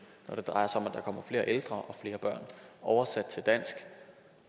når det drejer sig om at der kommer flere ældre og flere børn oversat til dansk